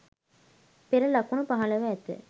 පෙර ලකුණු පහළ ව ඇත